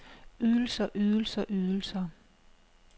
ydelser ydelser ydelser